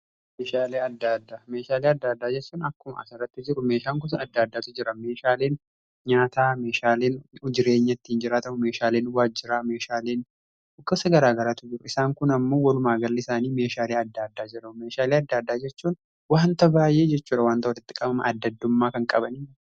Meeshaalee adda addaa Meeshaalee , adda addaa jechuun akkuma asirratti jiru meeshaan kutaa adda addaatu jira. meeshaaleen nyaataa meeshaaleen jireenya ittiin jiraachuuf ta'u meeshaaleen waajjiraa meeshaaleen garaa garaatu jiru. Isaan kun ammoo walumaa galli isaanii meeshaalee adda addaa jira. meeshaalee adda addaa jechuun wanta baay'ee jechudha wanta walitti qabaman adda addummaa kan qabanii.